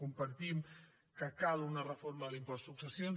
compartim que cal una reforma de l’impost de successions